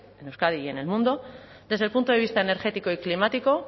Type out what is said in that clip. en euskadi y en el mundo desde el punto de vista energético y climático